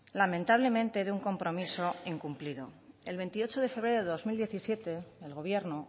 lamentablemente de un compromiso incumplido el veintiocho de febrero de dos mil diecisiete el gobierno